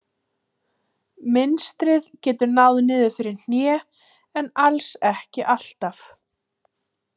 Mynstrið getur náð niður fyrir hné en alls ekki alltaf.